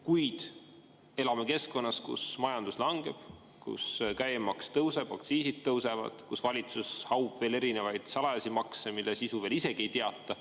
Kuid me elame keskkonnas, kus majandus langeb, käibemaks tõuseb ja aktsiisid tõusevad ning valitsus haub veel salajasi makse, mille sisu veel isegi ei teata.